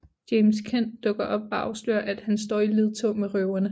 James Kent dukker op og afslører at han står i ledtog med røverne